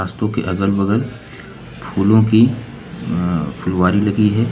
रास्तों के अगल बगल फूलों की अह फुलवारी लगी है।